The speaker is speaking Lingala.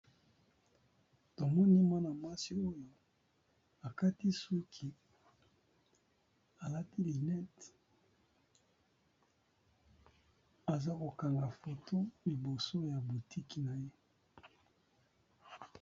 Tomoni mwana mwasi oyo akati suki alati lunette aza kokanga foto liboso ya boutiki na ye.